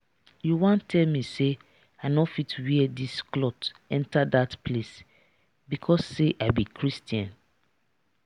you wan tell me say i no fit wear dis cloth enter dat place because say i be christian?